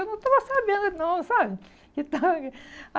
Eu não estava sabendo não, sabe? Que estava